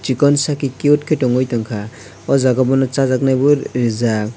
chikon sake cute khe tongui tongkha o jaga bono chajaknai bo rijak.